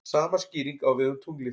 Sama skýring á við um tunglið.